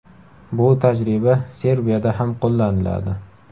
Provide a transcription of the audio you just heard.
Bu tajriba Serbiyada ham qo‘llaniladi.